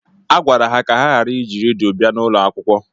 Agwara ha ka ha ghara iji redio bia n'ụlọakwụkwọ.